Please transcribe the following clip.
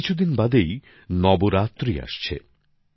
কিছুদিন বাদেই নবরাত্রি আসছে